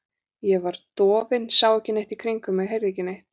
Ég var dofin, sá ekki neitt í kringum mig, heyrði ekki neitt.